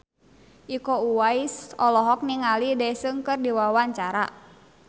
Iko Uwais olohok ningali Daesung keur diwawancara